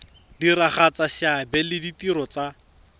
diragatsa seabe le ditiro tsa